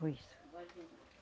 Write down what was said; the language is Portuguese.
Foi isso.